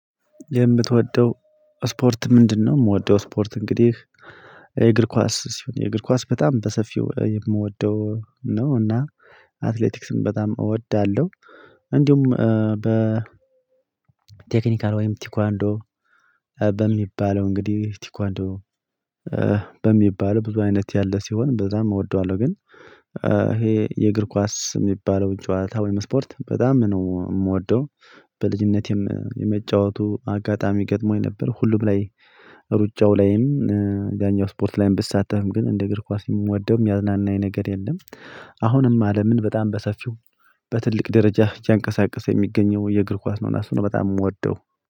የምትወደው ስፖርት ምንድነው? የምወደው ስፖርት እንግዲህ የእግር ኳስ ሲሆን የእግር ኳስ በጣም በሰፊው የምወደው ነው። እና አትሌቲክስም በጣም እወዳለሁ። እንዲሁም በ ቴክኒካል ወይም ቲኳንዶ በሚባለው እንግዲህ ቲኳንዶ በሚባለው ብዙ አይነት ያለ ሲሆን በዛም እወደዋለሁ። ግን ይሄ የእግር ኳስ የሚባለውን ጨዋታ ወይም ስፖርት በጣም ነው የምወደው። በልጅነቴም የመጫወቱ አጋጣሚ ገጥሞኝ ነበር። ሁሉም ላይ እሩጫው ላይም ያኛው ስፖርት ላይም ብሳተፍም ግን እንደ እግር ኳስ የምወደውም ሚያዝናናኝ ነገር የለም። አሁንም አለምን በጣም በሰፊው በትልቅ ደረጃ እያንቀሳቀሰ የሚገኘው የእግር ኳስ ነው። ለሱ ነው በጣም የምወደው።